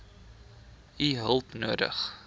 u hulp nodig